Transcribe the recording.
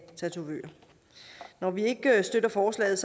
tatovører når vi ikke støtter forslaget